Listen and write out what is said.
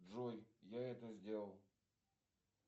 джой я это сделал